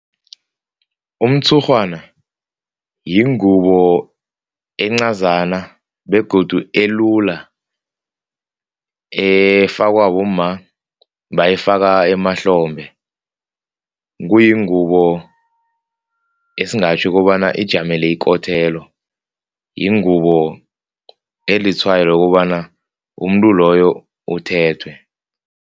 Umtshurhwana yingubo encazana begodu elula. Efakwa bomma, bayifaka emahlombe. Kuyingubo esingatjho kobana ijamele yingubo elitshwayo lokobana umuntu loyo uthethwe.